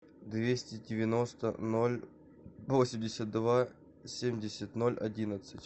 двести девяносто ноль восемьдесят два семьдесят ноль одиннадцать